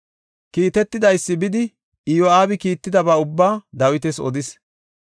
Kiitetidaysi bidi Iyo7aabi kiittidaba ubbaa Dawitas odis.